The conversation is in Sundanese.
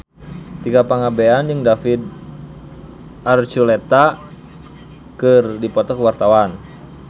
Tika Pangabean jeung David Archuletta keur dipoto ku wartawan